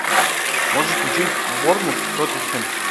можешь включить борнмут тоттенхэм